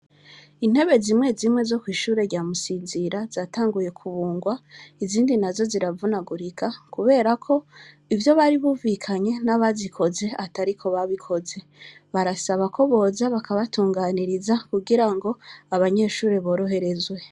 Intebe zimwe zimwe zo kw’ishure rya Musinzira, zatanguye kubungwa, izindi nazo ziravunagurika, kubera ko ivyo baribumvikanye n’abazikoze atariko babikoze; barasaba ko boza bakabatunganiriza kugira ngo abanyeshure boroherezwe.